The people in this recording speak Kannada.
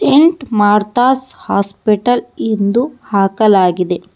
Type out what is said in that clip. ಇಂಟ್ ಮಾರ್ಥಸ್ ಹಾಸ್ಪಿಟಲ್ ಇಂದು ಹಾಕಲಾಗಿದೆ.